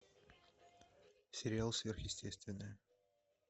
сериал сверхъестественное